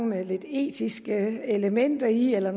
med lidt etiske elementer i eller